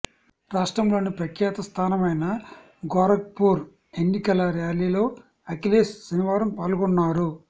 రాష్ట్రంలోని ప్రఖ్యాత స్థానమైన గోరఖ్పూర్ ఎన్నికల ర్యాలీలో అఖిలేశ్ శనివారం పాల్గొన్నారు